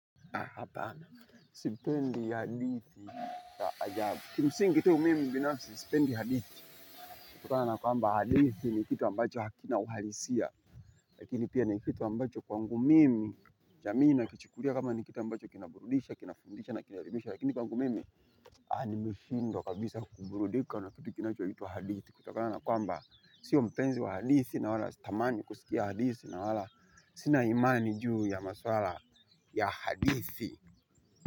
Hapana, sipendi hadithi ya ajabu. Kimsingi tu mimi binafsi sipendi hadithi. Kutokana na kwamba hadithi ni kitu ambacho hakina uhalisia. Lakini pia ni kitu ambacho kwangu mimi, jamii inakichikulia kama ni kitu ambacho kinaburudisha, kinafundisha na kinaelimisha. Lakini kwangu mimi, aha nimeshindwa kabisa kuburudika na kitu kinachoitwa hadithi. Kutokana na kwamba, sio mpenzi wa hadithi na wala sitamani kusikia hadithi na wala sina imani juu ya maswala ya hadithi.